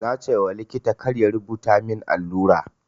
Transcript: Na ce wa likita kar ya rubuta min allura.